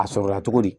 A sɔrɔla cogo di